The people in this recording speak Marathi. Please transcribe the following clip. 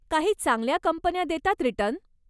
काही चांगल्या कंपन्या देतात रिटर्न.